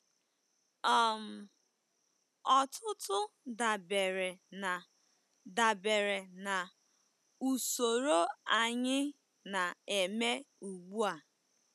um Ọtụtụ dabere na dabere na usoro anyị na-eme ugbu a.